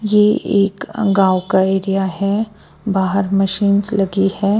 ये एक गांव का एरिया है बाहर मशीन्स लगी है।